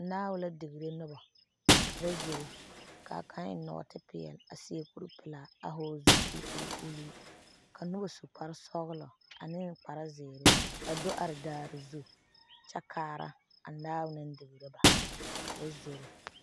Nao la degeree noba, ka ba zoro kaa kaŋ eŋe nɔɔte pɛɛle a seɛ kuri pɛlaa a vɔgeli zupili kɔɔ e ulluu , ka noba su kpare sɔglɔ ane kpare zeɛre a do are daare zu kyɛ kaara a nao naŋ degree ba ka ba zoro'